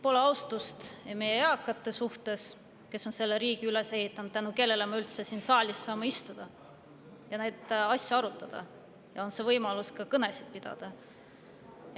Pole austust meie eakate vastu, kes on selle riigi üles ehitanud ja tänu kellele me üldse siin saalis saame istuda, neid asju arutada ja kõnesid pidada.